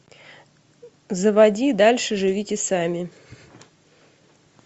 заводи дальше живите сами